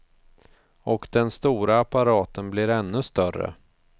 Och den stora apparaten blir ännu större.